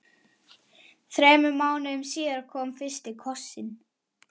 Þremur mánuðum síðar kom fyrsti kossinn.